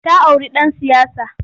Ta auri ɗan siyasa.